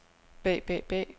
bag bag bag